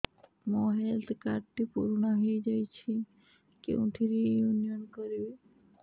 ମୋ health card ଟି ପୁରୁଣା ହେଇଯାଇଛି କେଉଁଠି ରିନିଉ କରିବି